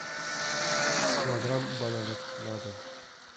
килограмм бананов на дом